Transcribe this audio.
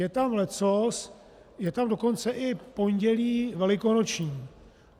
Je tam leccos, je tam dokonce i Pondělí velikonoční.